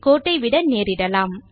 கோட்டை விட நேரிடலாம்